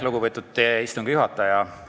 Lugupeetud istungi juhataja!